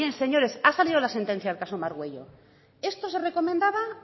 señores ha salido la sentencia del caso margüello esto se recomendaba